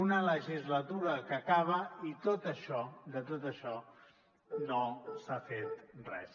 una legislatura que acaba i de tot això no s’ha fet res